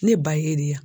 Ne ba ye deya